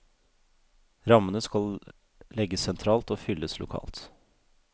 Rammene skal legges sentralt og fylles lokalt.